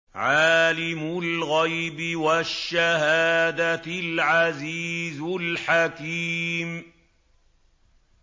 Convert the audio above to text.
عَالِمُ الْغَيْبِ وَالشَّهَادَةِ الْعَزِيزُ الْحَكِيمُ